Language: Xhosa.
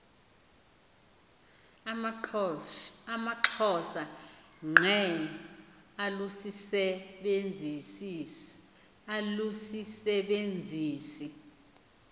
amaxhosa ngqe alusisebenzisi